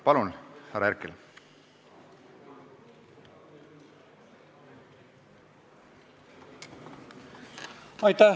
Palun, härra Herkel!